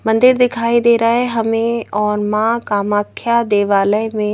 मंदिर दिखाई दे रहा है हमें और मां कामाख्या देवालय में--